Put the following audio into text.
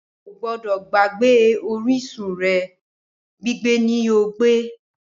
odo to ba gbagbe orisun re, gbigbe ni yoo gbe